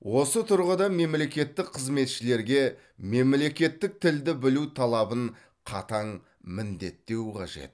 осы тұрғыда мемлекеттік қызметшілерге мемлекеттік тілді білу талабын қатаң міндеттеу қажет